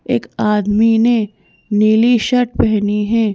एक आदमी ने नीली शर्ट पहनी है।